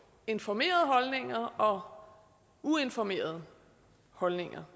informerede holdninger og uinformerede holdninger